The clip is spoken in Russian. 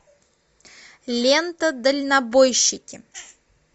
лента дальнобойщики